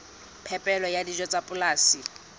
phepelo ya dijo tsa polasing